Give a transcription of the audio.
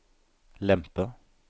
lempe